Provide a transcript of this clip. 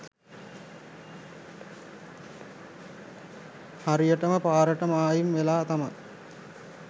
හරියටම පාරටම මායිම් වෙලා තමයි